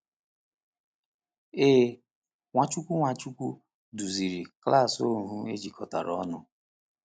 Ee, Nwachukwu Nwachukwu duziri klas ohu ejikọtara ọnụ.